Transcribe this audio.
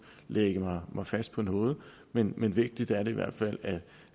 lægge mig fast på noget men men vigtigt er det i hvert fald